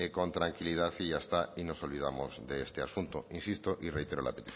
con tranquilidad y ya está y nos olvidamos de este asunto insisto y reitero la